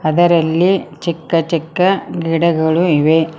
ಅದರಲ್ಲಿ ಚಿಕ್ಕ ಚಿಕ್ಕ ಗಿಡಗಳು ಇವೆ.